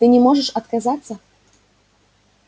ты не можешь отказаться